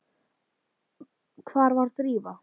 Hvar var Drífa?